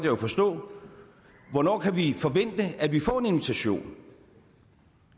jo forstå hvornår kan vi forvente at vi får en invitation